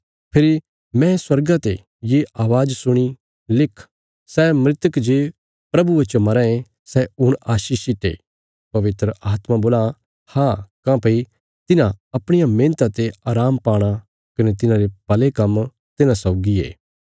फेरी मैं स्वर्गा ते ये अवाज़ सुणी लिख सै मृतक जे प्रभुये च मराँ ये सै हुण आशीषित ये पवित्र आत्मा बोलां हाँ काँह्भई तिन्हां अपणिया मेहणता ते आराम पाणा कने तिन्हांरे भले काम्म तिन्हां सौगी ये